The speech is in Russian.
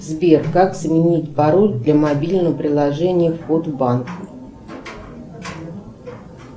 сбер как сменить пароль для мобильного приложения вход в банк